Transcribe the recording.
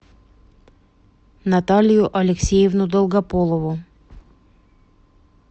наталию алексеевну долгополову